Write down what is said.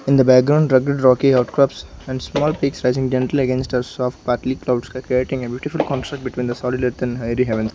in the background druggy dragged outcrubs and small pics having dental against soft partly cloud sky creating a beautiful construct between the solid earth and hairy heaven.